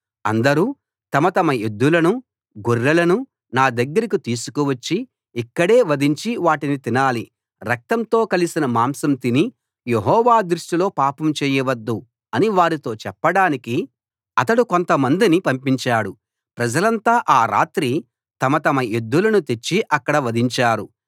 అందరూ తమ తమ ఎద్దులను గొర్రెలను నా దగ్గరికి తీసుకు వచ్చి ఇక్కడే వధించి వాటిని తినాలి రక్తంతో కలసిన మాసం తిని యెహోవా దృష్టిలో పాపం చేయవద్దు అని వారితో చెప్పడానికి అతడు కొంతమందిని పంపించాడు ప్రజలంతా ఆ రాత్రి తమ తమ ఎద్దులను తెచ్చి అక్కడ వధించారు